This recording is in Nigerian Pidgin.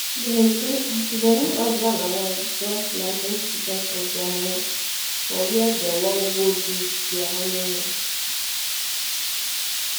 dem new husband and wife don plan twenty percent of dia money for where dey wan go do dia honeymoon.